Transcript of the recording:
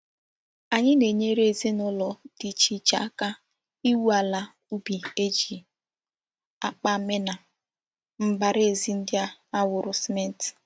Anyi na-enyere ezina ulo di iche iche akaiwu ala ubi e ji akpa meena mbaraezi ndi a kwara cement.